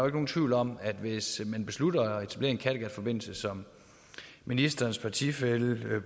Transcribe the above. ikke nogen tvivl om at hvis man beslutter at etablere en kattegatforbindelse som ministerens partifæller